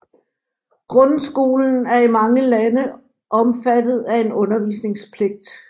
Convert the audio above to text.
Grundskolen er i mange lande omfattet af en undervisningspligt